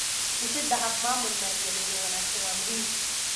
Dhisida hab maamul maaliyadeed oo wanaagsan waa muhiim.